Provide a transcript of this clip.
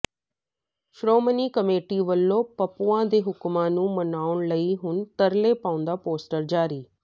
Shiromani committee ਵਲੋਂ ਪੱਪੂਆਂ ਦੇ ਹੁਕਮਾਂ ਨੂੰ ਮਨਾਉਣ ਲਈ ਹੁਣ ਤਰਲੇ ਪਾਉਂਦਾ ਪੋਸਟਰ ਜਾਰੀ